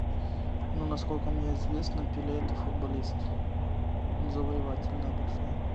ну насколько мне известно пеле это футболист завоеватель да большой